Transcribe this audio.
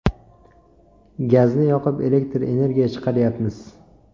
Gazni yoqib, elektr energiya chiqaryapmiz.